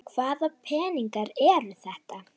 Hvaða peningar eru þetta?